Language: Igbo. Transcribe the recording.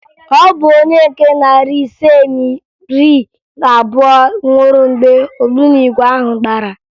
Ọ bụ onye nke narị ise na iri abụọ nwụrụ mgbe ogbunigwe ahụ gbara